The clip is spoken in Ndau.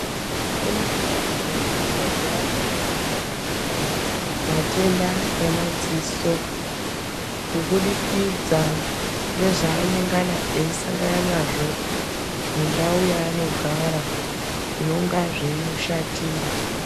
Kune vantu vanorwara maningi matenda emadziso kubudukidza ngezvaanengana eisangana nazvo mundau yaanogara zvinenga zveimushatira.